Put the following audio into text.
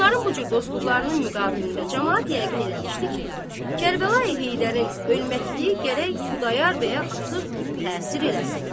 Bunların bu cür dostluqlarının müqabilində camaat yəqin eləmişdi ki, Kərbəlayi Heydərin ölməkliyi gərək Xudayar bəyə artıq təsir eləsin.